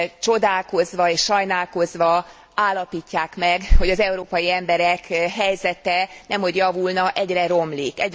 csodálkozva és sajnálkozva állapítják meg, hogy az európai emberek helyzete nemhogy javulna, egyre romlik.